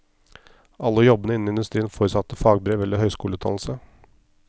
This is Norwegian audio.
Alle jobbene innen industrien forutsatte fagbrev eller høyskoleutdannelse.